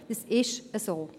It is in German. Es ist so.